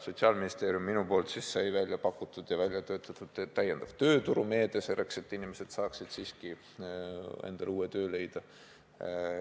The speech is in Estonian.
Sotsiaalministeeriumis sai minu eestvedamisel välja pakutud ja välja töötatud täiendav tööturumeede, et inimesed saaksid endale uue töö leida.